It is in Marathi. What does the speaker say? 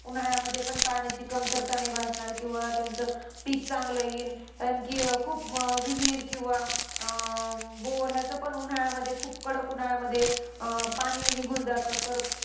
उन्हाळ्यामध्येपण पाण्याची कमतरता नाही भासणार. किंवा त्यांचं पिक चांगलं येईल. आणखी खूप विहीर किंवा अं bore याचं पण उन्हाळ्यामध्ये, खूप कडक उन्हाळ्यामध्ये पाणी निघून जातं. तर